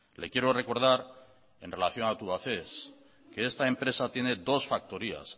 le quiero recordar en relación a tubacex que esta empresa tiene dos factorías